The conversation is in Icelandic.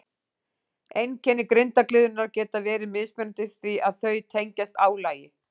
Einkenni grindargliðnunar geta verið mismunandi því að þau tengjast álagi.